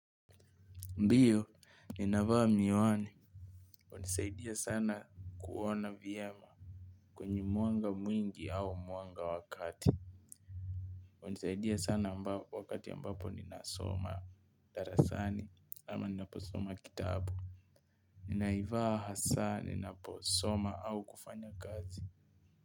Ndiyo, ninavaa miwani, hunisaidia sana kuona vyema kwenye mwanga mwingi au mwanga wa kati. Hunisaidia sana wakati ambapo ninasoma darasani ama ninaposoma kitabu. Ninaivaa hasaa, ninaposoma au kufanya kazi.